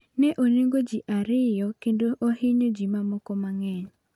Ne onegoji ariyo kendo ohinyo ji ma moko mang'eny.